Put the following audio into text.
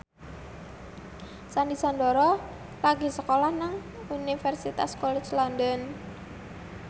Sandy Sandoro lagi sekolah nang Universitas College London